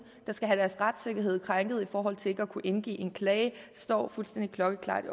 der skal have deres retssikkerhed krænket i forhold til ikke at kunne indgive en klage det står fuldstændig klokkeklart